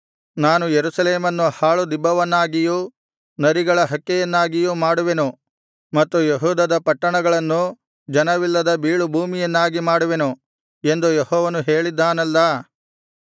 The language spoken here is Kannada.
ನಾನು ಯೆರೂಸಲೇಮನ್ನು ಹಾಳು ದಿಬ್ಬವನ್ನಾಗಿಯೂ ನರಿಗಳ ಹಕ್ಕೆಯನ್ನಾಗಿಯೂ ಮಾಡುವೆನು ಮತ್ತು ಯೆಹೂದದ ಪಟ್ಟಣಗಳನ್ನು ಜನವಿಲ್ಲದ ಬೀಳುಭೂಮಿಯನ್ನಾಗಿ ಮಾಡುವೆನು ಎಂದು ಯೆಹೋವನು ಹೇಳಿದ್ದಾನಲ್ಲಾ